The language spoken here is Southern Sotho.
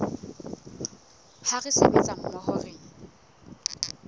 ha re sebetsa mmoho re